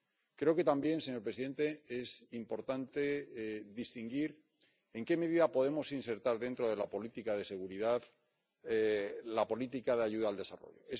Creo también, señor presidente, que es importante distinguir en qué medida podemos insertar dentro de la política de seguridad la política de ayuda al desarrollo.